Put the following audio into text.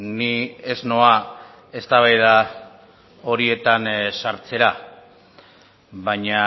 ni ez noa eztabaida horietan sartzera baina